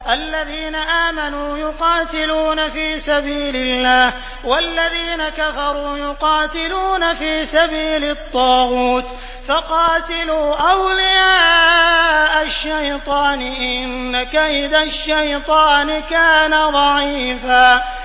الَّذِينَ آمَنُوا يُقَاتِلُونَ فِي سَبِيلِ اللَّهِ ۖ وَالَّذِينَ كَفَرُوا يُقَاتِلُونَ فِي سَبِيلِ الطَّاغُوتِ فَقَاتِلُوا أَوْلِيَاءَ الشَّيْطَانِ ۖ إِنَّ كَيْدَ الشَّيْطَانِ كَانَ ضَعِيفًا